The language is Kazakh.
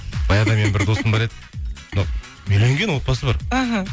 баяғыда менің бір досым бар еді үйленген отбасы бар іхі